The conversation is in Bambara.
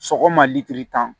Sɔgɔma litiri tan